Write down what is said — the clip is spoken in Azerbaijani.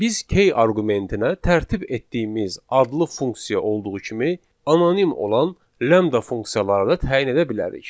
Biz key arqumentinə tərtib etdiyimiz adlı funksiya olduğu kimi anonim olan lambda funksiyalarını da təyin edə bilərik.